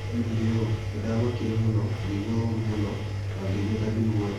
Oigire ũũ: "Nĩ ndaamakire mũno, ngĩigua ũũru mũno, na ngĩĩigua ta ndĩ ũgwati-inĩ.